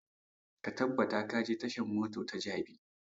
Ka tabbata ka je tashan mota ta jabi!